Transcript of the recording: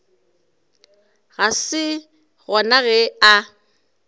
ga se gona ge a